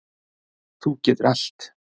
Þú getur allt.